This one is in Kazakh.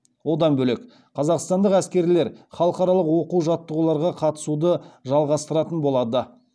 одан бөлек қазақстандық әскерлер халықаралық оқу жаттығуларға қатысуды жалғастыратын болады